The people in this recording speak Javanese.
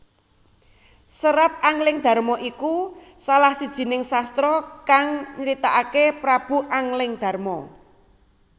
Serat Anglingdarma iku salah sijining sastra kang nyritakaké Prabu Anglingdarma